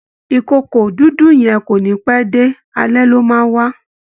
ìkookò dúdú yẹn kò ní pẹ́ dé, alẹ ló máa ń wá